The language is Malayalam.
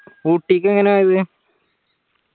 ഊട്ടിക്ക് എങ്ങനെയാ പോയത്